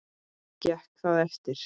Gekk það eftir.